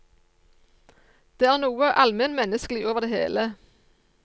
Det er noe almennmenneskelig over det hele.